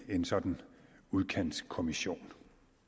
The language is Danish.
en sådan udkantskommission